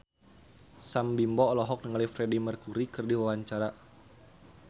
Sam Bimbo olohok ningali Freedie Mercury keur diwawancara